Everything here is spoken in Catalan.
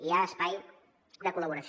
hi ha espai de col·laboració